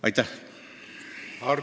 Aitäh!